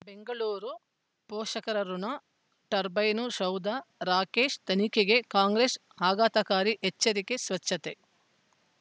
ಬೆಂಗಳೂರು ಪೋಷಕರಋಣ ಟರ್ಬೈನು ಸೌಧ ರಾಕೇಶ್ ತನಿಖೆಗೆ ಕಾಂಗ್ರೆಸ್ ಆಘಾತಕಾರಿ ಎಚ್ಚರಿಕೆ ಸ್ವಚ್ಛತೆ